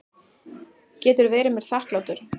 Getur verið mér þakklátur.